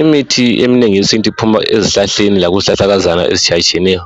Imithi eminengi eyesintu iphuma ezihlahleni lezihlahlakazaneni ezitshiyeneyo